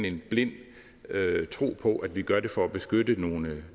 en blind tro på at vi gør det for at beskytte nogle